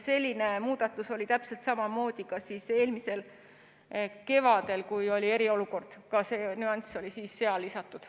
Selline muudatus oli täpselt samamoodi eelmisel kevadel, kui oli eriolukord, ka see nüanss oli siis seal lisatud.